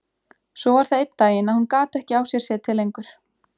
Svo var það einn daginn að hún gat ekki á sér setið lengur.